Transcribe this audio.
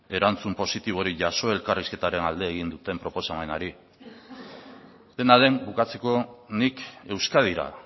erantzun positiborik jaso elkarrizketaren alde egin duten proposamenari dena den bukatzeko nik euskadira